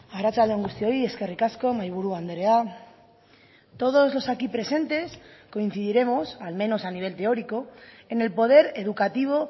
arratsalde on guztioi eskerrik asko mahaiburu andrea todos los aquí presentes coincidiremos al menos a nivel teórico en el poder educativo